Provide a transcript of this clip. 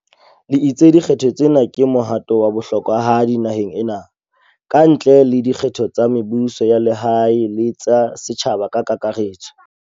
le itse di kgetho tsena ke mohato wa bohlokwahadi naheng ena, kantle le dikgetho tsa mebuso ya lehae le tsa setjhaba ka kaka retso.